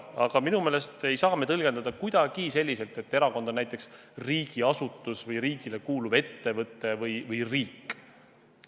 Aga minu meelest ei saa me tõlgendada kuidagi selliselt, et erakond on näiteks riigiasutus või riigile kuuluv ettevõte või riik.